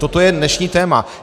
Toto je dnešní téma.